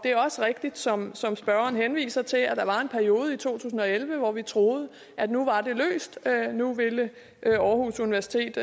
også rigtigt som som spørgeren henviser til at der var en periode i to tusind og elleve hvor vi troede at nu var det løst at nu ville aarhus universitet